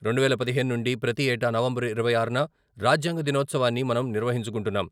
రెండువేల పదిహేను నుండి ప్రతి ఏటా నవంబరు ఇరవై ఆరున రాజ్యాంగ దినోత్సవాన్ని మనం నిర్వహించుకుంటున్నాం.